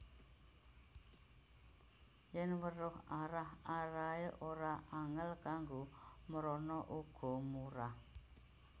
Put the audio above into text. Yèn weruh arah arahané ora angèl kanggo mrana uga murah